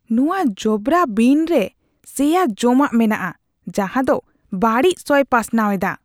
ᱱᱚᱶᱟ ᱡᱚᱵᱨᱟ ᱵᱤᱱ ᱨᱮ ᱥᱮᱭᱟ ᱡᱚᱢᱟᱜ ᱢᱮᱱᱟᱜᱼᱟ ᱡᱟᱦᱟᱸ ᱫᱚ ᱵᱟᱹᱲᱤᱡ ᱥᱚᱭ ᱯᱟᱥᱱᱟᱣ ᱮᱫᱟ ᱾